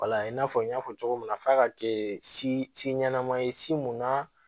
i n'a fɔ n y'a fɔ cogo min na f'a ka kɛ si si ɲɛnama ye si mun na